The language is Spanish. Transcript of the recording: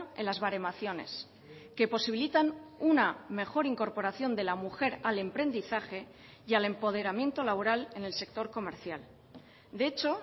en las baremaciones que posibilitan una mejor incorporación de la mujer al emprendizaje y al empoderamiento laboral en el sector comercial de hecho